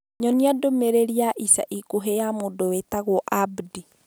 Nyonia ndũmĩrĩri ĩrĩa ya ica ikuhĩ ya mũndũ wĩtagwo Abdi.